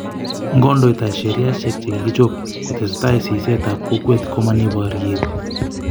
ngodoita sheriasheck che kikichob ko tesetai siset ab kokwet ko mo ni boryet